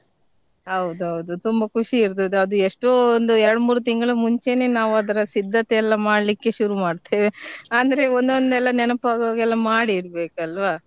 ಹೌದೌದು ತುಂಬಾ ಖುಷಿ ಇರ್ತದೆ ಅದು ಎಷ್ಟೋ ಒಂದು ಎರಡ್ ಮೂರ್ ತಿಂಗ್ಳಮುಂಚೆನೆ ನಾವ್ ಅದ್ರ ಸಿದ್ದತೆ ಎಲ್ಲಾ ಮಾಡ್ಲಿಕ್ಕೆ ಶುರು ಮಾಡ್ತೇವೆ ಅಂದ್ರೆ ಒಂದೊಂದೆಲ್ಲ ನೆನಪ್ ಆಗುವಾಗೆಲ್ಲ ಮಾಡಿ ಇಡ್ಬೇಕಲ್ವಾ.